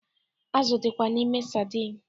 Azụ dịkwa n'ime sadin